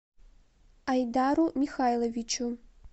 айдару михайловичу